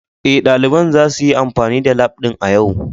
Ee, ɗalibin zasu yi amfani da lab ɗin a yau